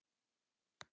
spurði hún